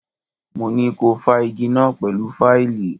Mo ní ko fá igí náà pẹ̀lú fáìlì!